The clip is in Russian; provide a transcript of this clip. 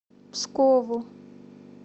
пскову